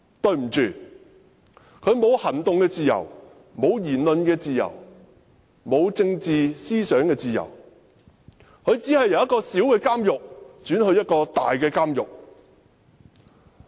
對不起，他沒有行動自由、沒有言論自由也沒有政治思想的自由，他只是由一個小監獄轉往一個大監獄。